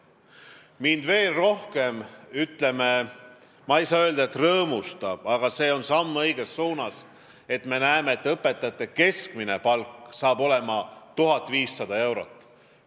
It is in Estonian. Ma ei saa öelda, et see mind veel rohkem rõõmustab, aga samm õiges suunas on see, et me näeme, et õpetajate keskmine palk hakkab olema 1500 eurot.